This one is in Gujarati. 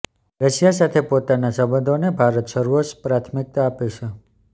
રશિયા સાથે પોતાના સંબંધોને ભારત સર્વોચ્ચ પ્રાથમિકતા આપે છે